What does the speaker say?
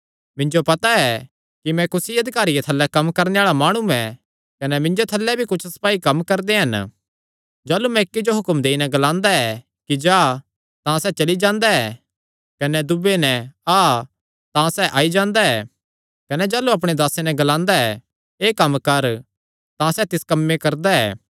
मिन्जो पता ऐ कि मैं भी कुसी अधिकारिये थल्लैं कम्म करणे आल़ा माणु ऐ कने मिन्जो थल्लैं भी कुच्छ सपाई कम्म करदे हन जाह़लू मैं इक्की जो हुक्म देई नैं ग्लांदा कि जा तां सैह़ चली जांदा ऐ कने दूये नैं आ तां सैह़ आई जांदा ऐ कने जाह़लू अपणे दासे नैं ग्लांदा एह़ कम्म कर तां सैह़ तिस कम्मे करदा ऐ